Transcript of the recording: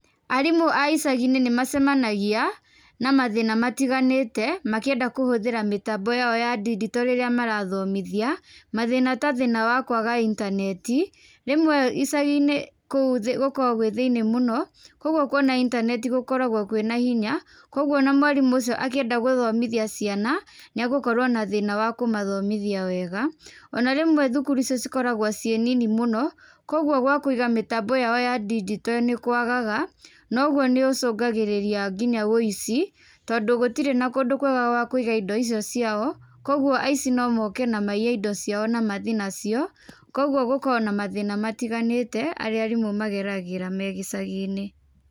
Aarimũ a icagi-inĩ nĩ macemanagia na mathĩna matiganĩte makĩenda kũhũthĩra mĩtambo ya o ya ndinjito rĩrĩa marathomithia, mathĩna ta thĩna wa kũaga intaneti, rĩmwe icagi-inĩ kũu gũkoragwo gwi thĩiniĩ mũno kogwo kũona intaneti gũkoragwo kwina hinya, kogwo o na mwarimũ ũcio akĩenda gũthomithia ciana nĩ egũkorwo na thĩna wa kũmathomithia wega. O na rĩmwe thukuru icio cikoragwo cĩ nini mũno koguo gwa kũiga mĩtambo ya o ya ndigito nĩkũagaga, noguo nĩũcũngagĩrĩria nginya ũici tondũ gũtirĩ na kũndũ kwega gwa kuiga indo icio ciao, koguo aici no moke na maiye indo ciao na mathiĩ nacio, koguo gũkoragwo na mathĩna matiganĩte marĩa arimũ mageragĩra me gĩcagi-inĩ.